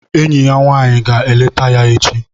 Enyi ya nwanyị ga-eleta ya echi